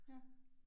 Ja